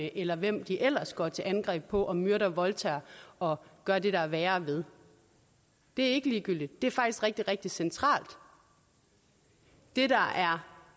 eller hvem de ellers går til angreb på og myrder og voldtager og gør det der er værre ved det er ikke ligegyldigt det er faktisk rigtig rigtig centralt det der er